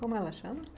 Como ela chama?